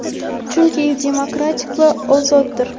chunki u demokrat va ozoddir.